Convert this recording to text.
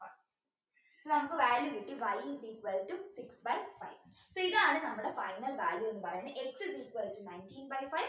നമുക്ക് value കിട്ടി y is equal to six by five so ഇതാണ് നമ്മുടെ final value എന്ന് പറയുന്നത് x is equal to nineteen by five